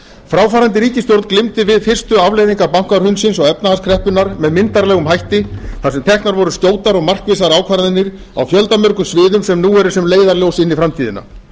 fráfarandi ríkisstjórn glímdi við fyrstu afleiðingar bankahrunsins og efnahagskreppunnar með myndarlegum hætti þar sem teknar voru skjótar og markvissar ákvarðanir á fjöldamörgum sviðum sem nú eru sem leiðarljós inn í framtíðina